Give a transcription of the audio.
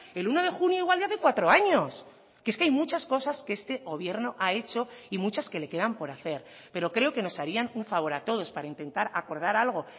el uno de junio igual de hace cuatro años que es que hay muchas cosas que este gobierno ha hecho y muchas que le quedan por hacer pero creo que nos harían un favor a todos para intentar acordar algo